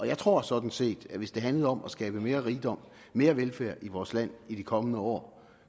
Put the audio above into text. jeg tror sådan set at hvis det handlede om at skabe mere rigdom og mere velfærd i vores land i de kommende år